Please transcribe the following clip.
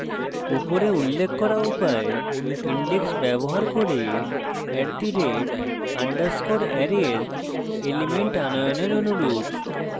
উপরে উল্লেখ করা উপায় index ব্যবহার করে @_ array এর elements আনয়নের অনুরূপ